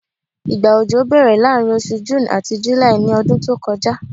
igba ọjọ bèèrè laarin osù June ati July ní ọdún tí o kọjá